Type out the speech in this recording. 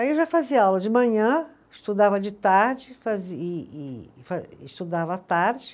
Aí eu já fazia aula de manhã, estudava de tarde, fazi e e fa, estudava à tarde.